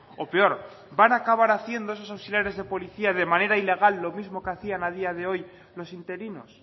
o peor van a acabar haciendo esos auxiliares de policía de manera ilegal lo mismo que hacían a día de hoy los interinos